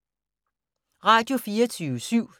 Radio24syv